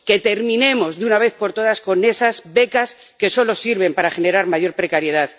o terminamos de una vez por todas con esas becas que solo sirven para generar mayor precariedad